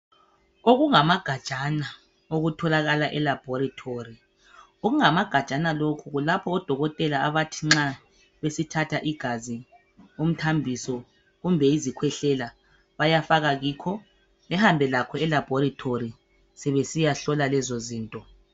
Okungamagajana okutholakala elaboratory okungamagajana lokhu kulapho odokotela abathi nxa besithatha igazi umthambiso kumbe izikhwehlela bayafaka kikho behambe lakho elaboratory sebesiya hlola lezo zinto.